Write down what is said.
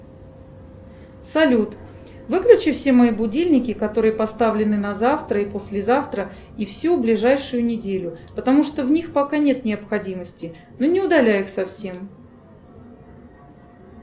салют выключи все мои будильники которые поставлены на завтра и послезавтра и всю ближайшую неделю потому что в них пока нет необходимости ну не удаляй их совсем